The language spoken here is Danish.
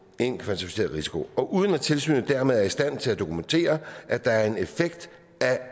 en kvantificeret risiko og uden at tilsynet dermed er i stand til at dokumentere at der er en effekt